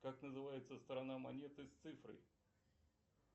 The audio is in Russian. как называется страна монеты с цифрой